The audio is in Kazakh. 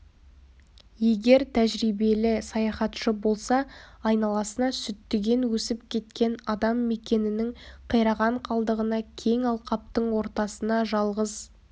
егер тәжірибелі саяхатшы болса айналасына сүттіген өсіп кеткен адам мекенінің қираған қалдығына кең алқаптың ортасына жалғыз